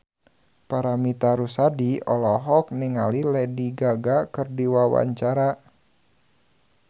Paramitha Rusady olohok ningali Lady Gaga keur diwawancara